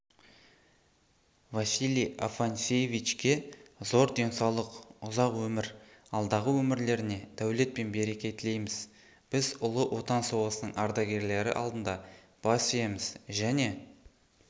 василий афанасьевичке зор денсаулық ұзақ өмір алдағы өмірлеріне дәулет пен береке тілейміз біз ұлы отан соғысының ардагерлері алдында бас иеміз және